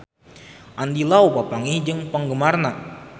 Andy Lau papanggih jeung penggemarna